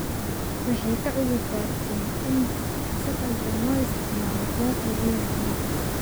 Waxay ka cudur daarteen in si khaldan loo isticmaalo deeqdii ay heleen.